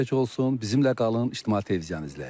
Bizimlə qalın, İctimai Televiziyanı izləyin.